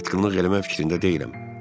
Mən satqınlıq eləmək fikrində deyiləm.